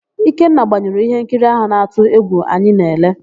Ikenna gbanyụrụ íhénkiri áhụ̀ na-atụ égwù anyị na-ele.